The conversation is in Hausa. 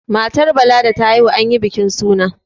matar Bala da ta haihu an yi bikin suna